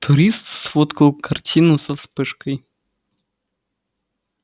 турист сфоткал картину со вспышкой